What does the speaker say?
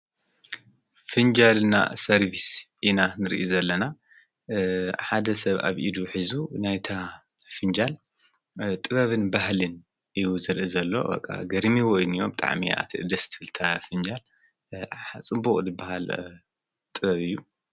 ፊንጃል ና ሰርፊስ ኢና ንርኢ ዘለና ሓደ ሰብ ኣብ ኢዱ ኂዙ ናይታ ፊንጃል ጥበብን ባህልን ይውዝርኢ ዘሎ ወቓ ገድሚ ወይኑዎም ጣዓሚኣቲ ደስትፍልታ ፍንጃል ሓጽቡቕ ድበሃል ጥበብ እዩ።